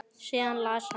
Síðan las hann: